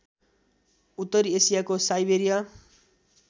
उत्तरी एसियाको साइबेरिया